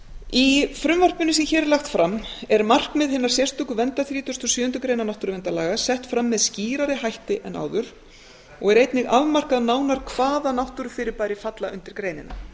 í frumvarpinu sem hér er lagt fram er markmið hinnar sérstöku verndar þrítugasta og sjöundu grein náttúruverndarlaga sett fram með skýrari hætti en áður og er einnig afmarkað nánar hvaða náttúrufyrirbæri falla undir greinina